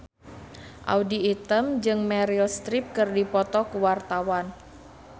Audy Item jeung Meryl Streep keur dipoto ku wartawan